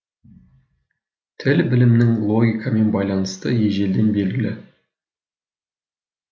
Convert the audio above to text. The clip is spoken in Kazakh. тіл білімінің логикамен байланысы ежелден белгілі